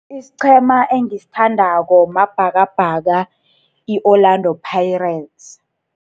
Isiqhema engisithandako Mabhakabhaka, i-Orlando Pirates.